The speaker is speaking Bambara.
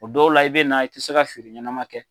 O dɔw la i be na i te se ka feere ɲɛnɛma kɛ